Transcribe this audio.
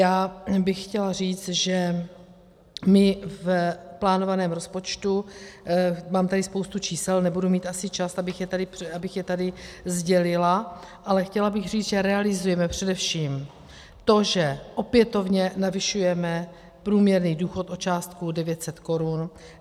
Já bych chtěla říct, že my v plánovaném rozpočtu, mám tady spoustu čísel, nebudu mít asi čas, abych je tady sdělila, ale chtěla bych říct, že realizujeme především to, že opětovně navyšujeme průměrný důchod o částku 900 korun.